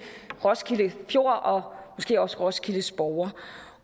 roskilde fjord og måske også roskildes borgere